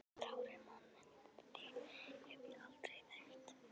Þrárri mann en þig hef ég aldrei þekkt!